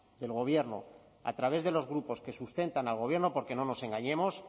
del gobierno a través de los grupos que sustentan al gobierno porque no nos engañemos